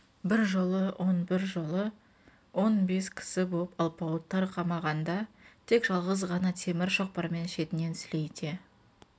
бір жолы он бір жолы он бес кісі боп алпауыттар қамағанда тек жалғыз ғана темір шоқпармен шетінен сілейте